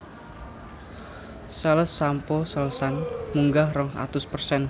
Sales shampoo Selsun munggah rong atus persen